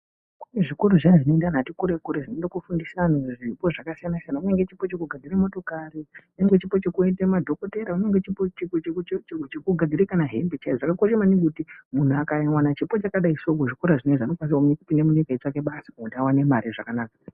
Kune zvikora zviyani zvino ende antu ati kure kure zvino ende ko fundisa antu zvipo zvaka siyana siyana kunyange chipo cheku gadzire motikari kunyange chipo chekoite madhokotera kunyenge chipo cheku cheku cheku gadzire kana hembe chaidzo zvakakosha maningi kuti muntu akawana chipo chakadi so mu zvikora zvinezvi anokwanisa kupinda munyika achi tsvaka basa muntu awane mari zvakanaka.